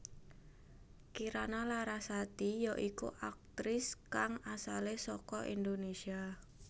Kirana Larasati ya iku aktris kang asalé saka Indonésia